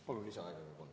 Palun lisaaega kolm minutit.